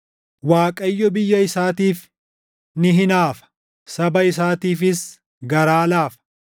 Waaqayyo biyya isaatiif ni hinaafa; saba isaatiifis garaa laafa.